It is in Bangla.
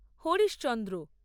হরিশচন্দ্র